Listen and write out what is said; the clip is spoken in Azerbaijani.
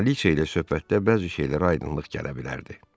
Kraliça ilə söhbətdə bəzi şeylərə aydınlıq gələ bilərdi.